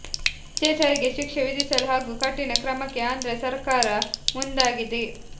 ಅತ್ಯಾಚಾರಿಗೆ ಶಿಕ್ಷೆ ವಿಧಿಸಲು ಹಾಗೂ ಕಠಿಣ ಕ್ರಮಕ್ಕೆ ಆಂಧ್ರ ಸರಕಾರ ಮುಂದಾಗಿದೆ